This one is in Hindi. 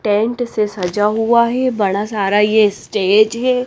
टेंट से सजा हुआ है बड़ा सारा ये स्टेज है।